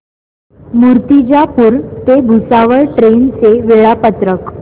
मूर्तिजापूर ते भुसावळ ट्रेन चे वेळापत्रक